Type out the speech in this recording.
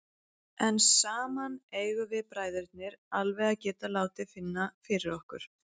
En saman eigum við bræðurnir alveg að geta látið finna fyrir okkur.